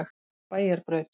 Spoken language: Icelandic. Bæjarbraut